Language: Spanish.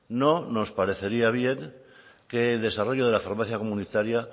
no nos parecería bien que el desarrollo de la farmacia comunitaria